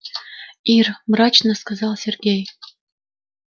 ир мрачно сказал сергей